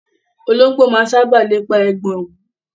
Ológbò máa ń sáábà lépa ẹ̀gbọ̀n òwú.